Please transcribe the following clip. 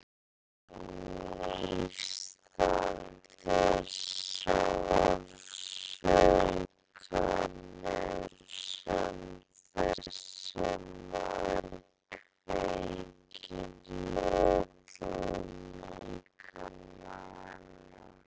Hún er fegin nístandi sársaukanum sem þessi maður kveikir í öllum líkama hennar.